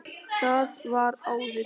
Það var áður.